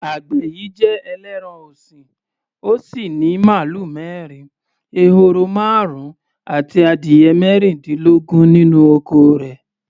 Àgbẹ̀ yìí jẹ ẹlẹ́ran-ọ̀sìn, ó sì ní màlúù mẹ́rin, ehoro márùn-ún àti adìyẹ mẹ́rìndínlógún nínú oko rẹ̀.